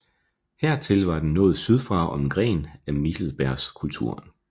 Hertil var den nået sydfra som en gren af Michelsbergkulturen